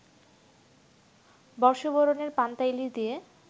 বর্ষবরণের পান্তা ইলিশ দিয়ে